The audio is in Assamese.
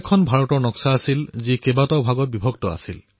সেয়া এনে এক নক্সা আছিল যত ভাৰতক কেইবাটাও ভাগত ভাগ কৰা হৈছিল